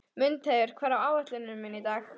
Mundheiður, hvað er á áætluninni minni í dag?